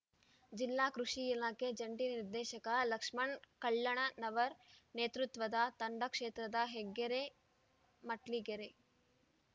ಜಿಲ್ಲಾ ಕೃಷಿ ಇಲಾಖೆ ಜಂಟಿ ನಿರ್ದೇಶಕ ಲಕ್ಷ್ಮಣ್‌ ಕಳ್ಳಣನವರ್ ನೇತೃತ್ವದ ತಂಡ ಕ್ಷೇತ್ರದ ಹೆಗ್ಗೆರೆ ಮೆಟ್ಲಗೆರೆ